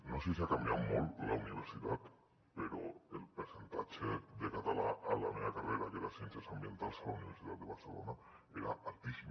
no sé si ha canviat molt la universitat però el percentatge de català a la meva carrera que era ciències ambientals a la universitat de barcelona era altíssim